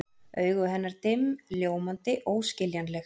Augu hennar dimm, ljómandi, óskiljanleg.